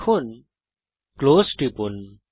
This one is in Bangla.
এবং ক্লোজ টিপুন